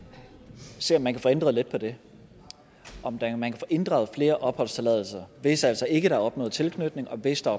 se om man kan få ændret lidt på det om man kan få inddraget flere opholdstilladelser hvis altså ikke der er opnået tilknytning og hvis der